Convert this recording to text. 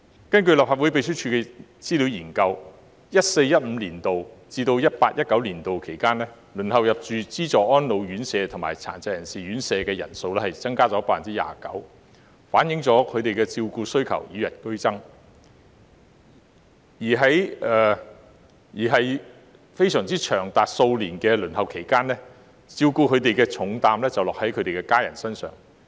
根據立法會秘書處的資料研究 ，2014-2015 年度至 2018-2019 年度期間，輪候入住資助安老院舍及殘疾人士院舍的人數增加 29%， 反映了他們的照顧需求與日俱增，而在長達數年的輪候期間，照顧他們的重擔便落在他們的家人身上。